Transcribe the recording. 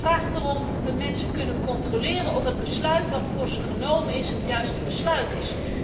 Democratie vraagt erom dat mensen kunnen controleren of het besluit wat voor ze genomen is het juiste besluit is.